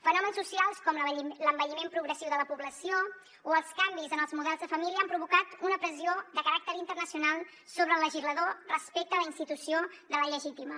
fenòmens socials com l’envelliment progressiu de la població o els canvis en els models de família han provocat una pressió de caràcter internacional sobre el legislador respecte a la institució de la llegítima